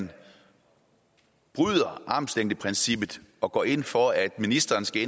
man bryder armslængdeprincippet og går ind for at ministeren skal